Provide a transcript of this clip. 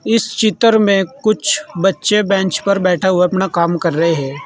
इस चित्र में कुछ बच्चे बेंच पर बैठा हुआ अपना काम कर रहे हैं।